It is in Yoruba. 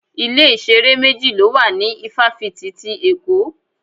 Ilé-ìṣeré méjì ló wà ní ifafiti ti Èkó.